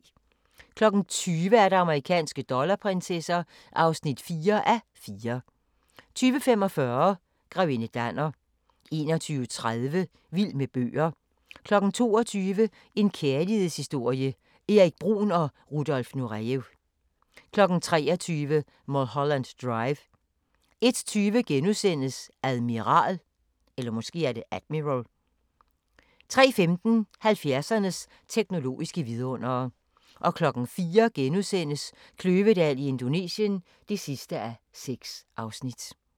20:00: Amerikanske dollarprinsesser (4:4) 20:45: Grevinde Danner 21:30: Vild med bøger 22:00: En kærlighedshistorie – Erik Bruhn & Rudolf Nurejev 23:00: Mulholland Drive 01:20: Admiral * 03:15: 70'ernes teknologiske vidundere 04:00: Kløvedal i Indonesien (6:6)*